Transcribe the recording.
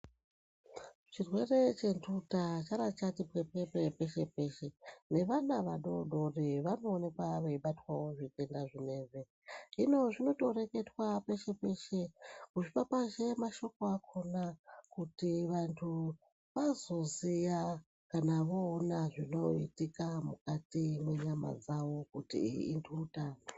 Chirwere chentuta chara chati pwepwepwe peshe peshe nevana vadodori vanoonekwa veibatwawo ngezvitenda zvinezvi hino zvinotoreketwa peshe peshe kupapazhe mashoko akhona kuti vanthu kuti vanthu vazoziya kuti vooona zvinoitika mukati mwenyama dzavo kuti iyi intuta iyi.